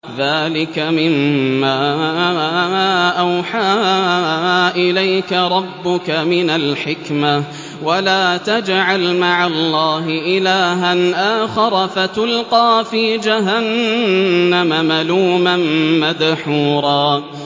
ذَٰلِكَ مِمَّا أَوْحَىٰ إِلَيْكَ رَبُّكَ مِنَ الْحِكْمَةِ ۗ وَلَا تَجْعَلْ مَعَ اللَّهِ إِلَٰهًا آخَرَ فَتُلْقَىٰ فِي جَهَنَّمَ مَلُومًا مَّدْحُورًا